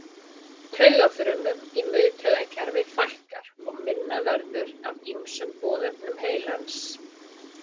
Taugafrumum í miðtaugakerfi fækkar og minna verður af ýmsum boðefnum heilans.